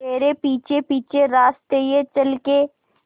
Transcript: तेरे पीछे पीछे रास्ते ये चल के